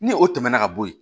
Ni o tɛmɛna ka bɔ yen